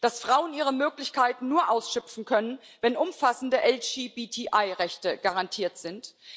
dass Frauen ihre Möglichkeiten nur ausschöpfen können, wenn umfassende LGBTI Rechte garantiert sind